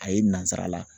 A ye nansarala